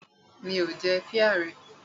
Mi ò jẹ píà rẹ.